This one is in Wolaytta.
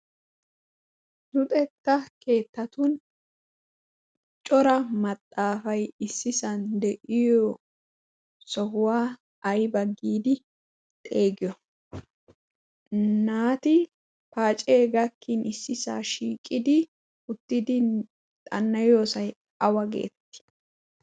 Luxetta keettatun cora maxaafay issisan de7iyo sohuwaa ayba giidi xeegeti? Naati paacee gakkin issisaa shiiqidi uttidi xannayoosay awa geetti?